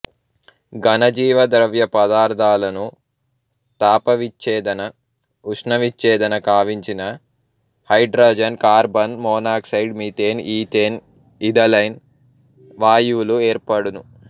ఘనజీవద్రవ్యపదార్థాలను తాపవిచ్ఛేదన ఉష్ణవిచ్ఛేదన కావించిన hydrogen carbon monoxide methane ethane ethylene వాయువులు ఏర్పడును